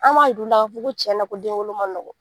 Anw b'a jir u la k'a fɔ ko cɛnna den wolo ma nɔgɔ